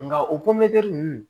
Nka o ninnu